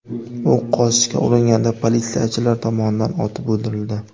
U qochishga uringanda politsiyachilar tomonidan otib o‘ldirildi.